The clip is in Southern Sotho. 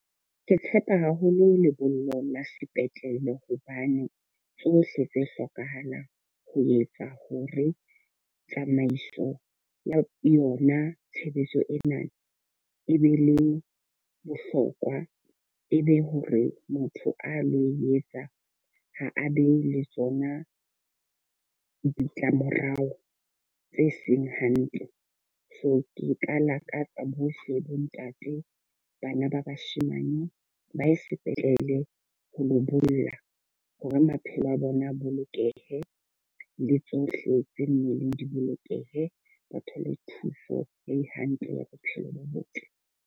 Ke tshepa haholo lebollo la sepetlele. Hobane tsohle tse hlokahalang ho etsa hore tsamaiso ya yona tshebetso ena e be le bohlokwa, e be hore motho a lo etsa ha a be le tsona ditlamorao tse seng hantle. So ke ka lakatsa bohle bo ntate, bana ba bashemane ba ye sepetlele ho lo bolla. Hore maphelo a bona a bolokehe le tsohle tse mmeleng di bolokehe. Ba thole thuso e hantle ya bophelo bo botle.